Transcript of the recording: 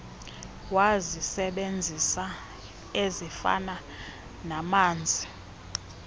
wazisebenzisa ezifana namanzi